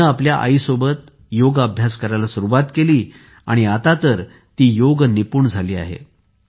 तिने आपल्या आईसोबत योग अभ्यास करायला सुरुवात केली आणि आता तर ती योग निपुण झाली आहे